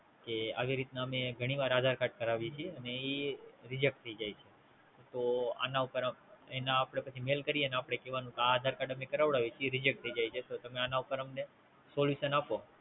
આવી રીતે હું ઘણી વખત કરાવી પણ Reject થઈ જાય છે, તો આપણે Call કરીને કહેવું